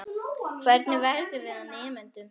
Hvernig vegum við og metum?